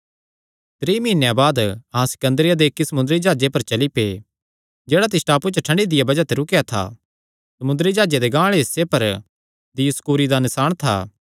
त्रीं मीहनेयां बाद अहां सिकन्दरिया दे इक्की समुंदरी जाह्जे पर चली पै जेह्ड़ा तिस टापूये च ठंडी दिया बज़ाह ते रुकेया था समुंदरी जाह्जे दे गांह आल़े हिस्से पर दियुसकूरी दा नसाण था